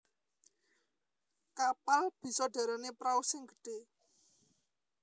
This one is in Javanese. Kapal bisa diarani prau sing gedhé